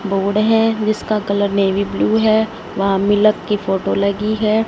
Board है जिसका colour navy blue है वहां मिलक की फोटो लगी है।